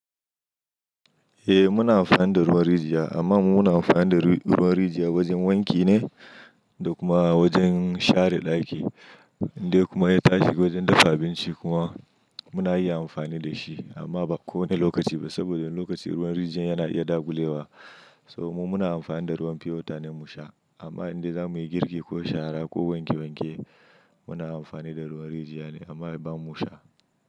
Eh muna amfani da ruwan rijiya amma mu muna amfani da ruwan rijiya wajen wanki ne da kuma wajen share ɗaki dai kuma ya tafi wajen dafa abinci kuma muna iya amfani da shi amma ba kowane lokaci ba saboda lokaci ruwan rijiyar yana iya dagulewa. Saboda mu muna amfani da ruwan pure water ne mu sha amma idan za muyi girki ko shara ko wanke wanke muna amfani da ruwan rijiyar ne amma ba mu sha.